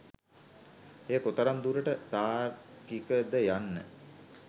එය කොතරම් දුරට තාර්කික ද යන්න